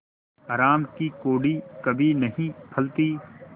हराम की कौड़ी कभी नहीं फलती